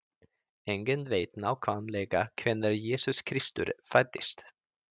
Enginn veit nákvæmlega hvenær Jesús Kristur fæddist.